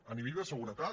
a nivell de seguretat